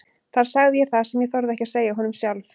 Þar sagði ég það sem ég þorði ekki að segja honum sjálf.